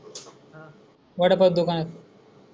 बर पडतो काय?